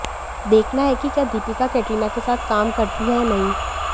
देखना है कि क्या दीपिका कैटरीना के साथ काम करती हैं या नहीं